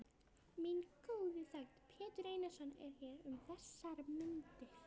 Minn góði þegn, Pétur Einarsson, er hér um þessar mundir.